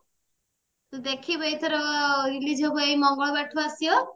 ଦେଖିବୁ ଏଇଥର release ହବ ଏଇ ମଙ୍ଗଳ ବାର ଠୁ ଆସିବ